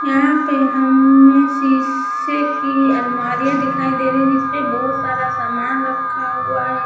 यहां पे हमें शीशे की अलमारियां दिखाई दे रहीं हैं जिसपे बहोत सारा सामान रखा हुआ है।